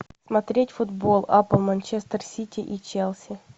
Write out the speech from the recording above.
смотреть футбол апл манчестер сити и челси